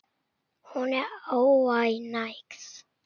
Hún er óánægð.